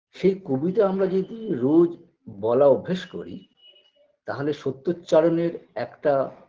সেই কবিতা আমরা যদি রোজ বলা অভ্যেস করি তাহলে সত্যোচ্চারণের একটা